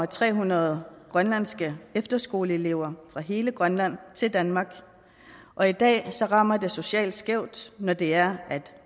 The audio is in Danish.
tre hundrede grønlandske efterskoleelever fra hele grønland til danmark og i dag rammer det socialt skævt når det er at